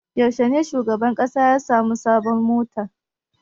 Yaushe ne shugaban ƙasa ya sami sabuwar mota?